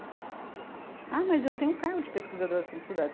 Ah, mas eu tenho o cargo de pesquisadora de assuntos culturais